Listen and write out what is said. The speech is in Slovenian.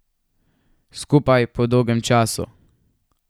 Skupaj po dolgem času.